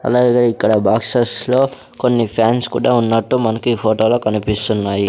అలాగే ఇక్కడ బాక్సెస్ లో కొన్ని ఫాన్స్ కూడా ఉన్నట్టు మనకీ ఫోటో లో కనిపిస్తున్నాయి.